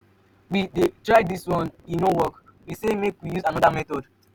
we try dis one e no work we say make we use another method.